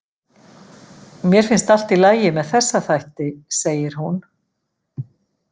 Mér finnst allt í lagi með þessa þætti, segir hún.